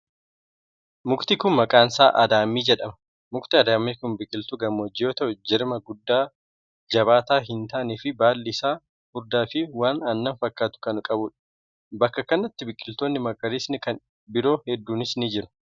Mukti kun, maqaan isaa adaamii jedhama. Mukti adaamii kun biqiltuu gammoojjii yoo ta'u, jirma guddaa jabaataa hin taane fi baalli isaa furdaa fi waan aannan fakkaatu kan qabuu dha. Bakka kanatti biqiloonni magariisni kan biroo hedduunis ni jiru.